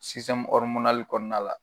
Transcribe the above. kɔɔna la